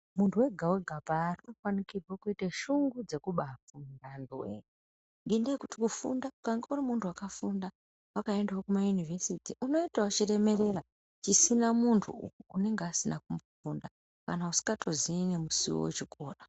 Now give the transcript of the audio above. Muntu wega wega paari unofanikirwe kuite shungu dzekubafunda anhuwee ngendaa yekuti kufunda ukange uri muntu wakafunda wakaendawo kumauniversity unoitawo chiremerera chisina muntu unenge asina kufunda kana usingatozii nemusiwo wechikora.